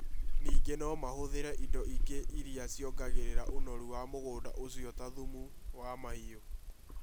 Ningĩ no mahũthĩre indo ingĩ iria ciongagĩrĩra ũnoru mũgũnda ũcio, ta thumu wa mahiũ.